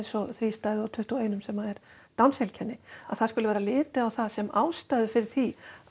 og þrístæðu á tuttugu og eitt sem er Downs heilkenni að það sé litið á það sem ástæðu fyrir því að